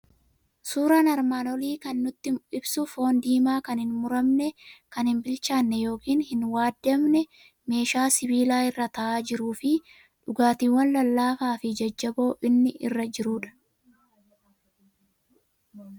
Suuraan armaan olii kan inni nutti ibsu foon diimaa kan hin mummuramne, kan hin bilchaanne yookiin hin waadamne, meeshaa sibiilaa irra taa'aa jiruu fi dhugaatiiwwan lallaafaa fi jajjaboo inni irra jirudha.